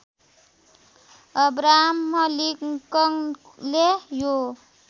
Abraham लिङ्कनले यो